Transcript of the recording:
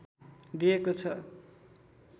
दिएको छ